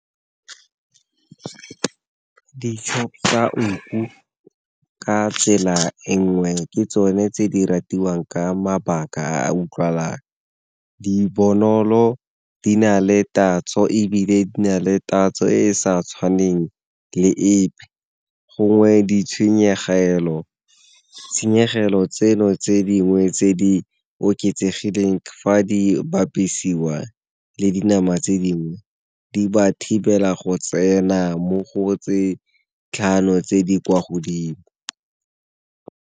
nku ka tsela e nngwe ke tsone tse di ratiwang ka mabaka a utlwalang di bonolo, di na le tatso ebile di na le tatso e e sa tshwaneng le epe. Gongwe di tshenyegelo tseno tse dingwe tse di oketsegileng fa di bapisiwa le dinama tse dingwe, di ba thibela go tsena mo go tse tlhano tse di kwa godimo.